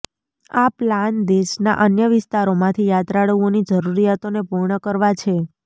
આ પ્લાન દેશનાં અન્ય વિસ્તારોમાંથી યાત્રાળુઓની જરૂરિયાતોને પૂર્ણ કરવા છે